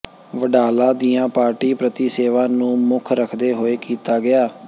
ਵਡਾਲਾ ਦੀਆਂ ਪਾਰਟੀ ਪ੍ਰਤੀ ਸੇਵਾ ਨੂੰ ਮੁੱਖ ਰਖਦੇ ਹੋਏ ਕੀਤਾ ਗਿਆ